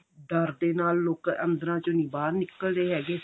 ਡਰ ਦੇ ਨਾਲ ਲੋਕ ਅੰਦਰਾਂ ਚੋਂ ਨੀ ਬਾਹਰ ਨਿੱਕਲਦੇ ਹੈਗੇ